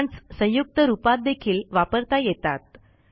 commands संयुक्त रूपातदेखील वापरता येतात